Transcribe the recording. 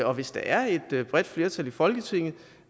og hvis der er et bredt flertal i folketinget